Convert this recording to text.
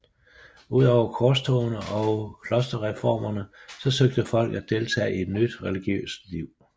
Udover korstogene og klosterreformerne så søgte folk at deltage i nyt religiøst liv